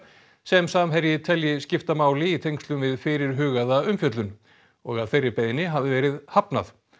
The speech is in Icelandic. sem Samherji telji skipta máli í tengslum við fyrirhugaða umfjöllun og að þeirri beiðni hafi verið hafnað